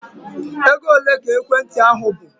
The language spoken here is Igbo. Ego ole ka ekwentị ahụ bụ?